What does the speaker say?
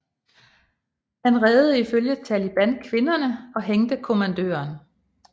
Han reddede ifølge Taliban kvinderne og hængte kommandøren